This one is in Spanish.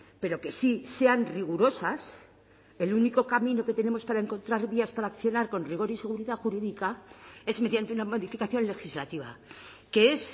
pero que sí sean rigurosas el único camino que tenemos para encontrar vías para accionar con rigor y seguridad jurídica es mediante una modificación legislativa que es